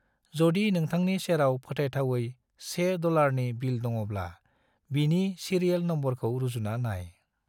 जदि नोंथांनि सेराव फोथायथावै से डॉलरनि बिल दङब्ला, बिनि सीरियेल नम्बरखौ रुजुना नाय।